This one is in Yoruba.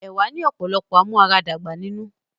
Ẹ̀wá ni ọ̀pọ̀lọpọ̀ amúaradàgbà nínú